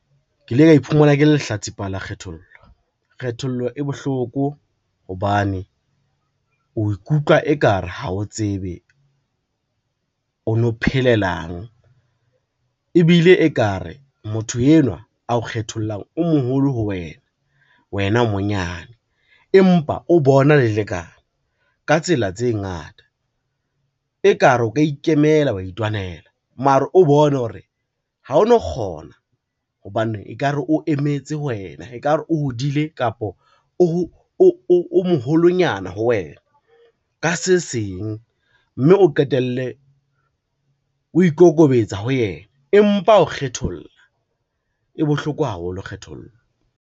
Ke ile ka iphumana ke le lehlatsipa la kgethollo. Kgethollo e bohloko hobane o ikutlwa e ka re ha o tsebe o no phelelang, ebile e ka re motho enwa ao kgethollang o moholo ho wena, wena o monyane empa o bona le lekana ka tsela tse ngata. E ka re o ka ikemela wa itwanela mara, o bone hore ha o no kgona hobane e ka re o emetse ho wena, ekare o hodile kapo o moholonyana ho wena ka se seng, mme o qetelle o ikokobetsa ho yena, empa ao kgetholla, e bohloko haholo kgethollo.